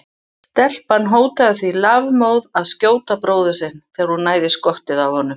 Stelpan hótaði því lafmóð að skjóta bróður sinn þegar hún næði í skottið á honum.